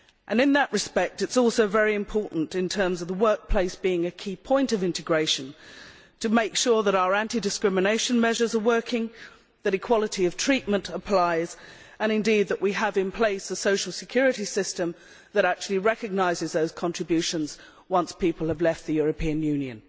In that respect, it is also very important, in terms of the workplace being a key point of integration, to make sure that our anti discrimination measures are working, that equality of treatment applies and indeed that we have in place a social security system that actually recognises those contributions once people have left the European Union.